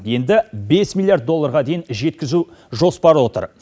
енді бес миллиард долларға дейін жеткізу жоспары отыр